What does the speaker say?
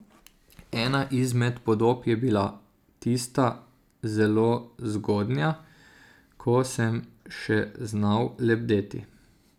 Ena izmed podob je bila tista zelo zgodnja, ko sem še znal lebdeti.